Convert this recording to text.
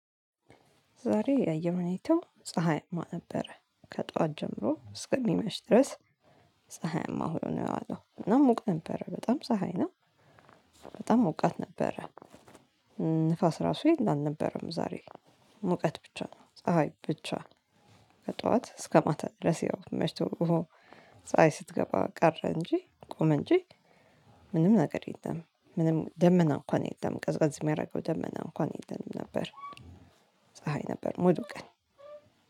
ዛሬ የአየር ሁኔታው ፀሀያማ ነበረ። ከጧት ጀምሮ እስከሚመሽ ድረስ ፀሀያማ ሆይ ነው የዋለው። እና ሙቅ ነበረ። በጣም ፀሀይ ነው። በጣም ሞቃት ነበረ። ንፋስ ራሱ የለም አልነበረም ዛሬ። ሙቀት ብቻ ነው። ፀሀይ ብቻ ከጠዋት እስከ ማታ ድረስ ያው መሽቶ ፀሀይ ስትገባ ቀረ እንጂ ቆመ እንጂ ምንም ነገር የለም። ምንም ደመና እንኳን የለም። ቀዝቀዝ የሚያደርገው ደመና እንኳን የለም ነበር። ፀሀይ ነበር ሙሉቀን።